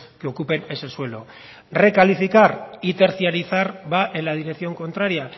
que ocupen ese suelo recalificar y tercializar va en la dirección contraria